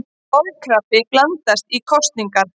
Kolkrabbi blandast í kosningar